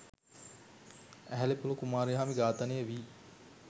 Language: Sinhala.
ඇහැලේපොළ කුමාරිහාමි ඝාතනය වී